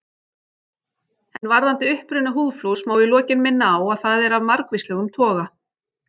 En varðandi uppruna húðflúrs má í lokin minna á að það er af margvíslegum toga.